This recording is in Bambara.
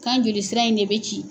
K'an joli sira in de bɛ ci!